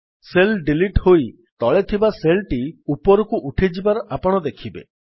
cell delete ହୋଇ ତଳେ ଥିବା ସେଲ୍ ଟି ଉପରକୁ ଉଠିଯିବାର ଆପଣ ଦେଖିବେ